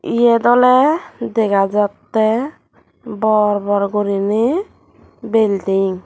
yot ole dega jatte bor bor guriney belding.